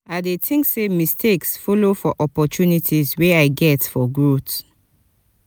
i dey think say mistakes follow for opportunities wey i get for growth.